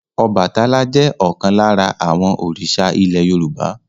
Ọbàtálá jẹ́ ọ̀kan lára àwọn òrìṣà ilẹ̀ Yorùbá.